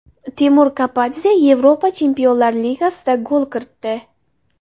Temur Kapadze Yevropa chempionlar ligasida gol kiritdi.